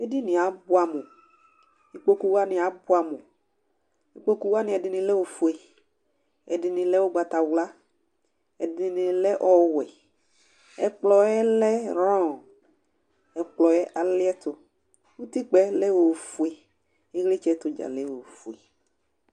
edinie abʋam ikpoku, wʋani abʋam, ikpoku wʋani ɛdini lɛ ofue, ɛdini lɛ ugbata wla, ɛdini lɛ ɔwɛ, ɛkplɔ yɛ lɛ ron, ɛkplɔ yɛ aliɛtu, utikpa yɛ lɛ ofue, ilitsɛ tu dza lɛ ofue